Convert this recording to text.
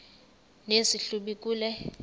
nesi hlubi kule